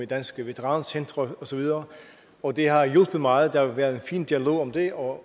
danske veterancentre osv og det har hjulpet meget der har været en fin dialog om det og